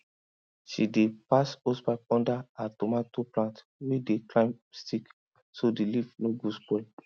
she dey pass hosepipe under her tomato plant wey climb stick so the leaf no go spoil